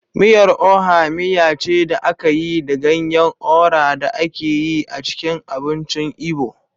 Miyar Oha miya ce da aka yi da ganyen Ora da ake yi a cikin abincin Igbo.